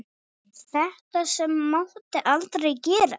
Þetta sem mátti aldrei gerast.